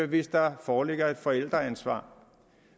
hvis der foreligger et forældreansvar